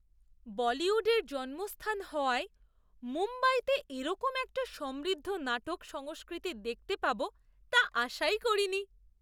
বলিউডের জন্মস্থান হওয়ায় মুম্বাইতে এরকম একটা সমৃদ্ধ নাটক সংস্কৃতি দেখতে পাব তা আশাই করিনি!